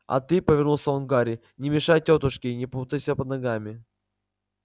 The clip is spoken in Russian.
а ты повернулся он к гарри не мешай тётушке не путайся под ногами